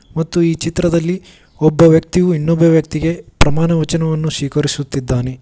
ಮತ್ತು ಈ ಚಿತ್ರದಲ್ಲಿ ಒಬ್ಬ ವ್ಯಕ್ತಿಯು ಇನ್ನೊಬ್ಬ ವ್ಯಕ್ತಿಗೆ ಪ್ರಮಾಣ ವಚನವನ್ನು ಸ್ವೀಕರಿಸುತ್ತಿದ್ದಾನೆ.